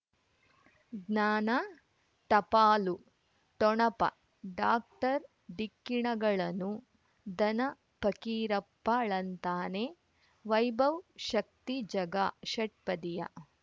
ಜ್ಞಾನ ಟಪಾಲು ಠೊಣಪ ಡಾಕ್ಟರ್ ಢಿಕ್ಕಿ ಣಗಳನು ಧನ ಫಕೀರಪ್ಪ ಳಂತಾನೆ ವೈಭವ್ ಶಕ್ತಿ ಝಗಾ ಷಟ್ಪದಿಯ